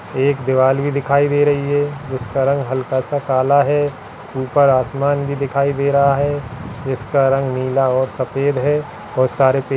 एक भी दिखाई दे रही है जिसका रंग हल्का-सा काला है ऊपर आसमान भी दिखाई दे रहा है जिसका रंग नीला और सफेद है और सारा पे--